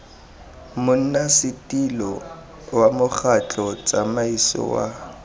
monnasetilo wa mokgatlho tsamaiso wa